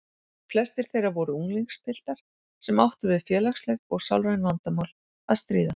Flestir þeirra voru unglingspiltar sem áttu við félagsleg og sálræn vandamál að stríða.